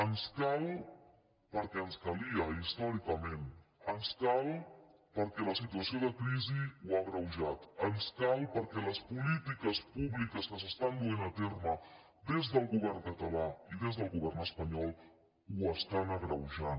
ens cal perquè ens calia històricament ens cal perquè la situació de cri·si ho ha agreujat ens cal perquè les polítiques públi·ques que s’estan duent a terme des del govern català i des del govern espanyol ho estan agreujant